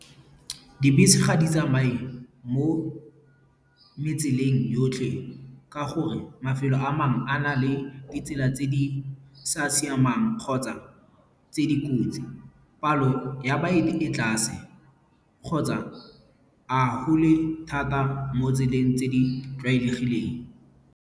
Dibese ga di tsamaye mo metseng yotlhe ka gore mafelo a mangwe, a na le ditsela tse di sa siamang kgotsa tse dikotsi. Palo ya baeti e tlase kgotsa a thata mo tseleng tse di tlwaelegileng.